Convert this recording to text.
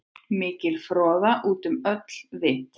Mikil froða út um öll vit.